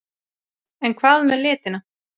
En hvað með litina?